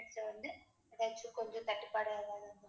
இது வந்து நெட் கொஞ்சம் தட்டுப்பாடா~